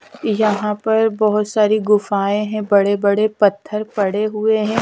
यहां पर बहुत सारी गुफाएं हैं बड़े बड़े पत्थर पड़े हुए हैं।